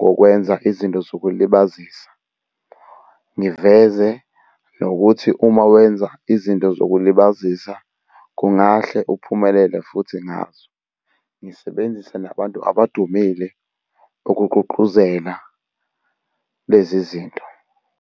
kokwenza izinto zokulibazisa. Ngiveze nokuthi uma wenza izinto zokulibazisa kungahle uphumelele futhi ngazo. Ngisebenzise nabantu abadumile ukugqugquzela lezi zinto.